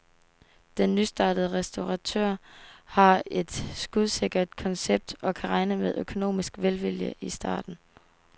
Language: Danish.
Den nystartede restauratør har et skudsikkert koncept og kan regne med økonomisk velvilje i starten.